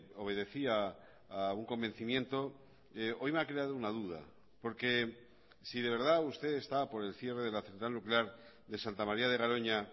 obedecía a un convencimiento hoy me ha creado una duda porque si de verdad usted está por el cierre de la central nuclear de santa maría de garoña